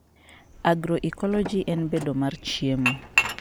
Agroecology; en bedo mar chiemo